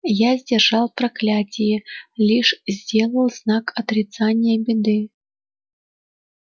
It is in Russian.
я сдержал проклятие лишь сделал знак отрицания беды